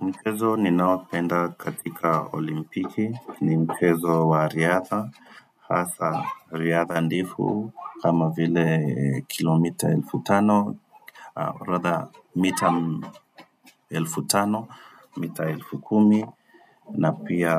Mchezo ninaopenda katika olimpiki, ni mchezo wa riadha, hasa riadha ndefu kama vile kilomita elfu tano, or rather mita elfu tano, mita elfu kumi, na pia